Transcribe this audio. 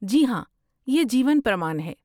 جی ہاں، یہ جیون پرمان ہے؟